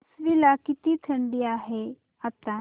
आश्वी ला किती थंडी आहे आता